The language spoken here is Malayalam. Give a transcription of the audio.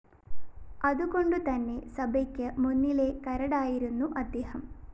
അതുകൊണ്ടുതന്നെ സഭയ്ക്ക് മുന്നിലെ കരടായിരുന്നു അദ്ദേഹം